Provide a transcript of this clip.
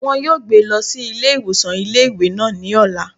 Wọn yóò gbé e lọ sí ilé ìwòsàn ilé ìwé náà ní ọ̀la